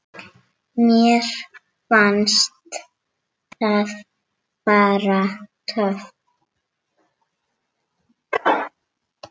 Mér fannst það bara. töff.